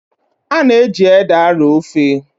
A na-eji ede arọọ ofe.